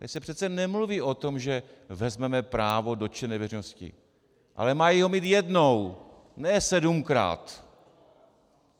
Tady se přece nemluví o tom, že vezmeme právo dotčené veřejnosti, ale mají ho mít jednou, ne sedmkrát.